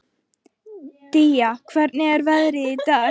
Día, hvernig er veðrið í dag?